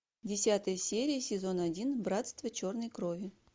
десятая серия сезон один братство черной крови